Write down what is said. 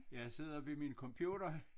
Jeg sidder ved min computer